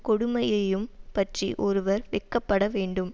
கொடுமையையும் பற்றி ஒருவர் வெட்கப்பட வேண்டும்